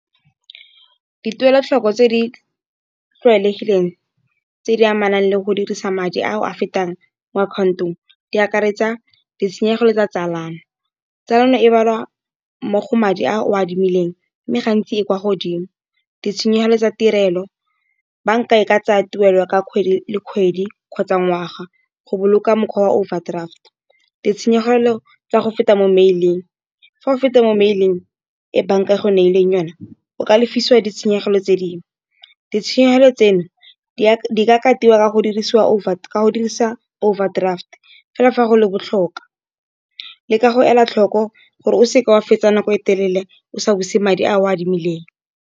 Dituelo tlhoko tse di tlwaelegileng tse di amanang le go dirisa madi a o a fetang mo account-ong di akaretsa ditshenyegelo tsa tsalano. Tsalano e balwa mmogo madi a o a adimileng mme gantsi e kwa godimo. Ditshenyegelo tsa tirelo bank-a e ka tsaya tuelo ka kgwedi le kgwedi, kgotsa ngwaga go boloka mokgwa wa overdraft. Ditshenyegelo tsa go feta mo mmeleng fa o feta mo mail-ing, e bank-a e go neileng yona, o ka lefisiwa ditshenyegelo tse dingwe, ditshenyegelo tseno di ka tilwa ka go dirisa overdraft, fela fa go le botlhokwa, le ka go ela tlhoko gore o seke wa fetsa nako e telele o sa buse madi a o a adimileng.